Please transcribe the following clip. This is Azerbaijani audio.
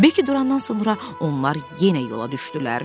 Bekki durandan sonra onlar yenə yola düşdülər.